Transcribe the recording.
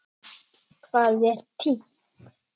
Hvað er títt?